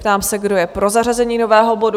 Ptám se, kdo je pro zařazení nového bodu?